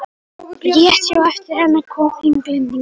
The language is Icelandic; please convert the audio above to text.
Rétt á eftir henni kom Englendingurinn.